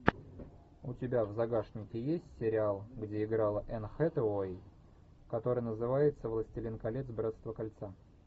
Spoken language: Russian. у тебя в загашнике есть сериал где играла энн хэтэуэй который называется властелин колец братство кольца